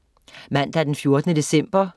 Mandag den 14. december